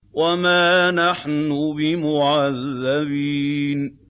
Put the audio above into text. وَمَا نَحْنُ بِمُعَذَّبِينَ